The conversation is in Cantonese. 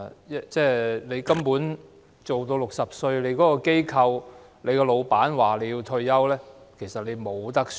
當你工作至60歲，你所屬的機構或老闆要求你退休，其實你別無他選。